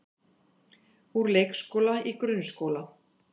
Úr leikskóla í grunnskóla